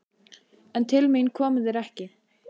En til mín komu þeir ekki.